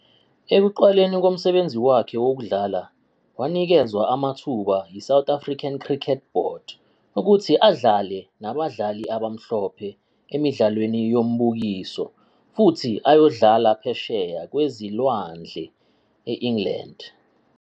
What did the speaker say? Ekuqaleni komsebenzi wakhe wokudlala, wanikezwa amathuba yiSouth African Cricket Board, ukuthi adlale nabadlali abamhlophe emidlalweni yombukiso, futhi ayodlala phesheya kwezilwandle e-England.